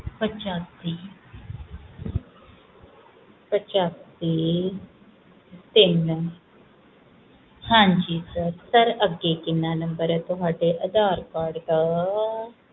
ਅੱਛਾ ਜੀ ਤਿੰਨ ਹਾਂਜੀ sir ਅੱਗੇ ਕਿੰਨੇ number ਆ ਤੁਹਾਡਾ ਅਧਾਰ card ਦਾ